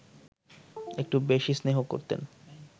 একটু বেশি স্নেহ করতেন